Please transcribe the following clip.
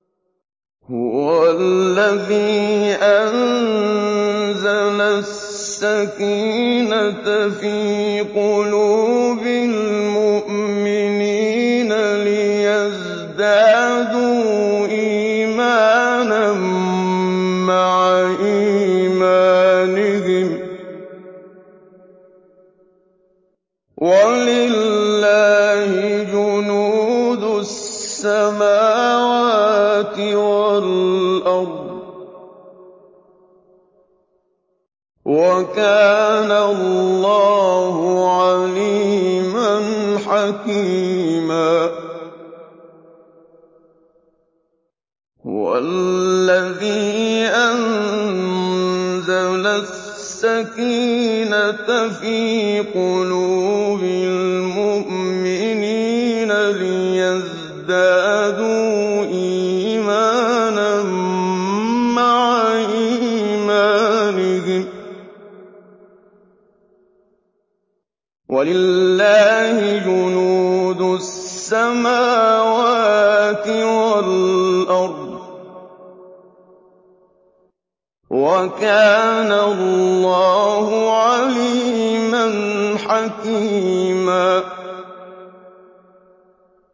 هُوَ الَّذِي أَنزَلَ السَّكِينَةَ فِي قُلُوبِ الْمُؤْمِنِينَ لِيَزْدَادُوا إِيمَانًا مَّعَ إِيمَانِهِمْ ۗ وَلِلَّهِ جُنُودُ السَّمَاوَاتِ وَالْأَرْضِ ۚ وَكَانَ اللَّهُ عَلِيمًا حَكِيمًا